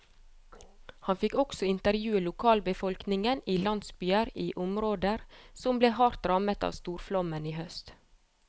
Han fikk også intervjue lokalbefolkningen i landsbyer i områder som ble hardt rammet av storflommen i høst.